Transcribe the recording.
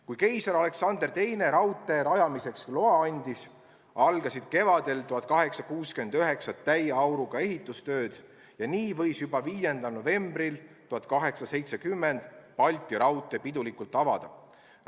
Kui keiser Aleksander II oli raudtee rajamiseks loa andnud, algasid 1869. aasta kevadel täie auruga ehitustööd ja nii sai juba 5. novembril 1870 Balti raudtee pidulikult avada.